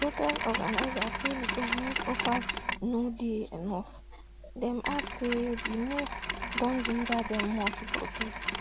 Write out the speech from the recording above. protest organisers say di goment offers no dey enough dem add say di move don ginger dem more to protest